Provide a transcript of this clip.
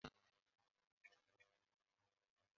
Kedụ onye ga-egotere m ọgwụ ịba?